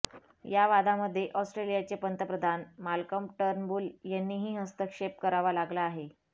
या वादामध्ये ऑस्ट्रेलियाचे पंतप्रधान माल्कम टर्नबुल यांनीही हस्तक्षेप करावा लागला आहे